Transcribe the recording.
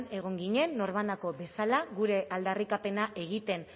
egon ginen norbanako bezala gure aldarrikapena egiten